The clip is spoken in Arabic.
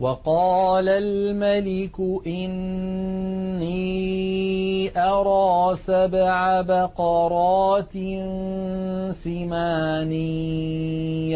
وَقَالَ الْمَلِكُ إِنِّي أَرَىٰ سَبْعَ بَقَرَاتٍ سِمَانٍ